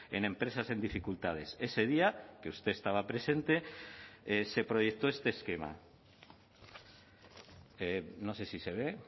en empresas en dificultades ese día que usted estaba presente se proyectó este esquema no sé si se ve